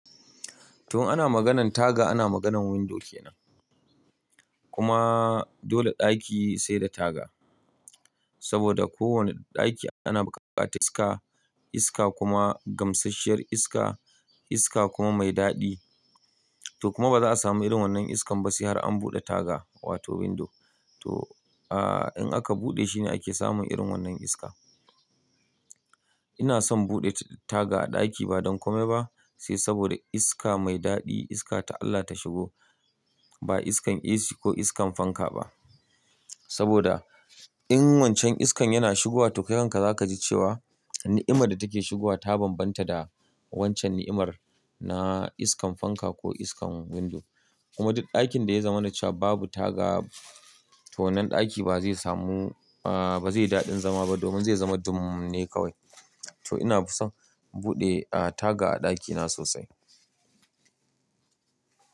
To in ana maganan taga ana maganan window kenan. Kuma dole ɗaki sai da taga. Saboda ko wanne ɗaki ana bukatar iska, iska kuma gamsasshiyar iska, iska kuma mai daɗi. To kuma ba za a samu irin wannan iskan ba sai har an buɗe taga wato window. To, ah, in aka buɗe shine ake samun irin wannan iska. Ina son buɗe taga a ɗaki ba don kome ba, sai saboda iska mai daɗi, iska ta Allah ta shigo. Ba iskan AC ko iskan fanka ba. Saboda in wancan iskan yana shigowa to kai kanka za ka ji cewa ni'imar da take shigowa ta bambanta da wancan ni'imar na iskan fanka ko iskan window. Kuma duk ɗakin da ya zama na cewa babu taga, to wannan ɗaki ba zai samu, ah, ba zai yi daɗin zama ba domin zai zama dummu ne kawai. To ina son buɗe, ah, taga a ɗakina sosai.